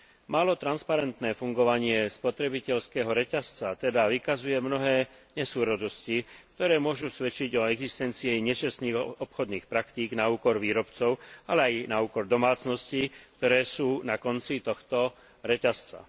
Málo transparentné fungovanie spotrebiteľského reťazca teda vykazuje mnohé nesúrodosti, ktoré môžu svedčiť o existencii nečestných obchodných praktík na úkor výrobcov, ale aj na úkor domácností, ktoré sú na konci tohto reťazca.